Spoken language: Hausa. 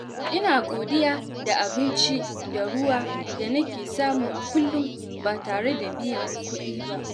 Ina godiya da abinci da ruwa da nake samu a kullum ba tare da biyan kuɗi ba.